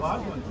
qaçma.